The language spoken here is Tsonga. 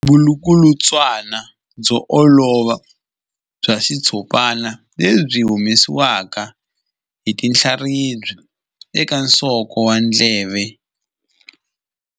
Vulukulutswana byo olova bya xitshopana lebyi byi humesiwaka hi tinhlaribya eka nsoko wa ndleve.